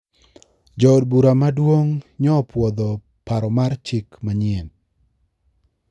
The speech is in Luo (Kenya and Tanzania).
Jo od bura maduong` nyo-opuodho paro mar chik manyien .